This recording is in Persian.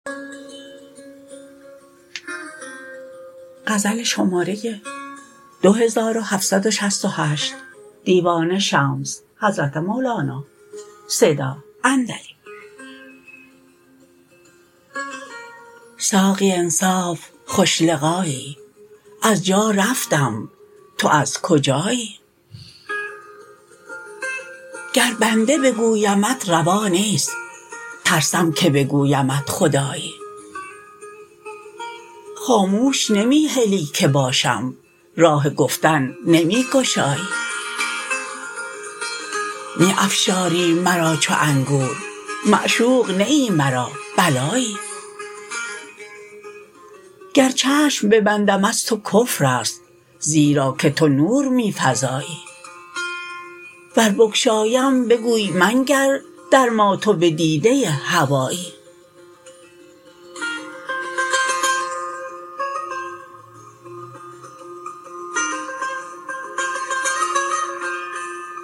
ساقی انصاف خوش لقایی از جا رفتم تو از کجایی گر بنده بگویمت روا نیست ترسم که بگویمت خدایی خاموش نمی هلی که باشم راه گفتن نمی گشایی می افشاری مرا چو انگور معشوق نه ای مرا بلایی گر چشم ببندم از تو کفر است زیرا که تو نور می فزایی ور بگشایم بگویی منگر در ما تو بدیده هوایی